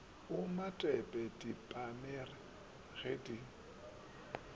o matepe diepamere ga di